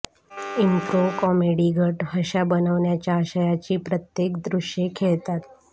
improv comedy गट हशा बनविण्याच्या आशयाची प्रत्येक दृश्ये खेळतात